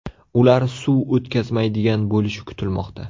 Ular suv o‘tkazmaydigan bo‘lishi kutilmoqda.